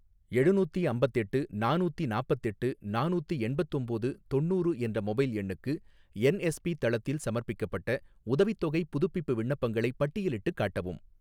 எழுநூத்தி அம்பத்தெட்டு நானூத்தி நாப்பத்தெட்டு நானூத்தி எண்பத்தொம்போது தொண்ணூறு என்ற மொபைல் எண்ணுக்கு என்எஸ்பி தளத்தில் சமர்ப்பிக்கப்பட்ட உதவித்தொகைப் புதுப்பிப்பு விண்ணப்பங்களைப் பட்டியலிட்டுக் காட்டவும்